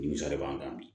Nimisa b'an kan bi